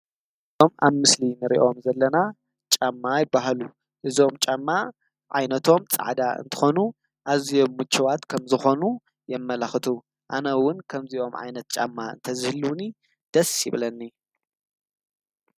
እዚኦም አብ ምስሊ እንሪኦም ዘለና ጫማ ይበሃሉ። እዞም ጫማ ዓይነቶም ፃዕዳ እንትኾኑ አዝዮም ምቹዋት ከምዝኾኑ የመላኽቱ። አነ እውን ከምዚ ዓይነት ጫማ እንተዝህልውኒ ደስ ይብለኒ።